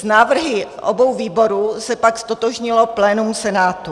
S návrhy obou výborů se pak ztotožnilo plénum Senátu.